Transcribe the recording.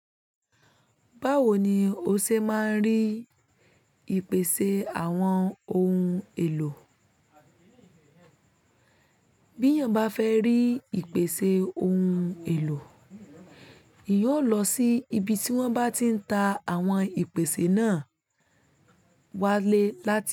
Báwo ni o ṣe máa ń rí ìpèsè àwọn ohun èlò? Bí èèyàn bá fẹ́ rí ìpèsè ohun èlò, èyàn ó lọ sí ibi tí wọ́n bá ti ń ta àwọn ìpèsè náà wálé láti.